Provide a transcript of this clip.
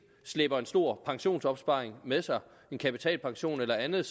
slæber en stor pensionsopsparing med sig en kapitalpension eller andet